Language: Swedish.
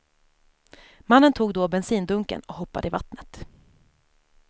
Mannen tog då bensindunken och hoppade i vattnet.